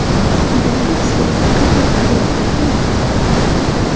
David Silva Qatarga yo‘l olishi mumkin.